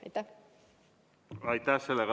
Aitäh!